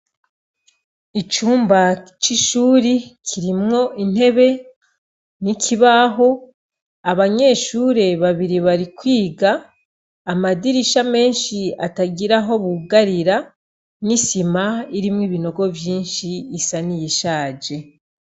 Icumba c'ishure kirimwo intebe n'ikibaho, abanyeshure babiri bari kwiga, amadirisha menshi atagira aho bugarira n'isima irimwo ibinogo vyinshi isa n'iyishaje.